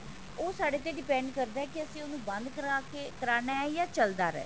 ਉਹ ਸਾਡੇ ਤੇ depend ਕਰਦਾ ਕਿ ਅਸੀਂ ਉਹਨੂੰ ਬੰਦ ਕਰਾਕੇ ਕਰਨਾ ਹੈ ਜਾ ਚੱਲਦਾ ਰਹੇ